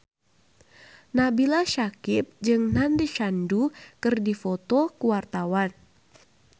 Nabila Syakieb jeung Nandish Sandhu keur dipoto ku wartawan